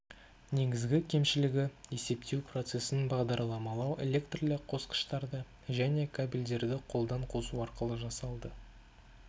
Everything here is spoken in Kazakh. негізгі кемшілігі есептеу процесін бағдарламалау электрлі қосқыштарды және кабельдерді қолдан қосу арқылы жасалды